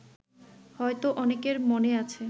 হয়তো অনেকের মনে আছে